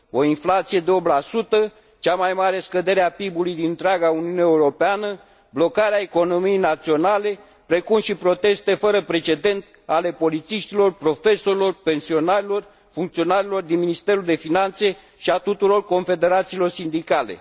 O inflație de 8 cea mai mare scădere a PIB ului din întreaga Uniune Europeană, blocarea economiei naționale, precum și proteste fără precedent ale polițiștilor, profesorilor, pensionarilor, funcționarilor din Ministerul de Finanțe și ale tuturor confederațiilor sindicale.